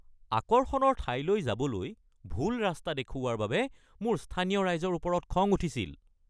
আকৰ্ষণৰ ঠাইলৈ যাবলৈ ভুল ৰাস্তা দেখুওৱাৰ বাবে মোৰ স্থানীয় ৰাইজৰ ওপৰত খং উঠিছিল।